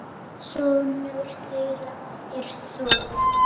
Sonur þeirra er Þór.